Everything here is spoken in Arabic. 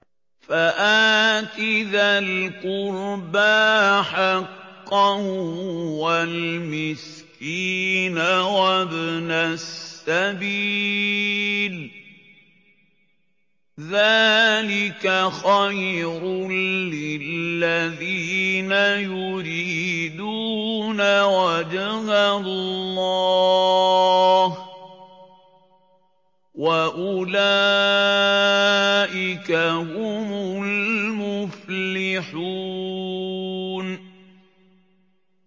فَآتِ ذَا الْقُرْبَىٰ حَقَّهُ وَالْمِسْكِينَ وَابْنَ السَّبِيلِ ۚ ذَٰلِكَ خَيْرٌ لِّلَّذِينَ يُرِيدُونَ وَجْهَ اللَّهِ ۖ وَأُولَٰئِكَ هُمُ الْمُفْلِحُونَ